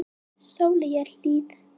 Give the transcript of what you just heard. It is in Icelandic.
Sóleyjarhlíð